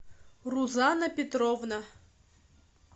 рузанна петровна